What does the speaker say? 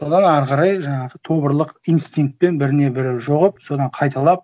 содан ары қарай жаңағы тобырлық инстинктпен біріне бірі содан қайталап